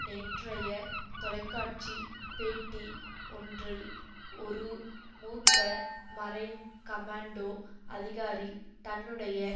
நேற்றைய தொலைக்காட்சி பேட்டி ஒன்றில் ஒரூ மூத்த மரைன் கமாண்டோ அதிகாரி தன்னுடைய